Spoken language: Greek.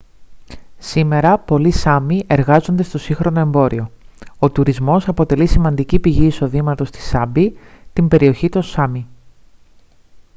σήμερα πολλοί σάμι εργάζονται στο σύγχρονο εμπόριο ο τουρισμός αποτελεί σημαντική πηγή εισοδήματος στη σάμπι την περιοχή των σάμι